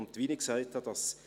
Wie ich gesagt habe: